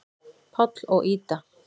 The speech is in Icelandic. Páll og Ída.